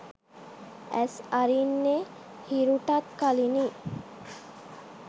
ඇස් අරින්නේ හිරුටත් කලිනි